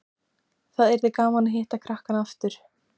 Það yrði gaman að hitta krakkana aftur